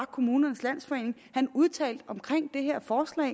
kommunernes landsforening udtalte om det her forslag